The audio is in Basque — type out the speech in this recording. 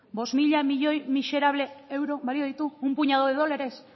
bost mila milioi miserable euro balio ditu un puñado de dólares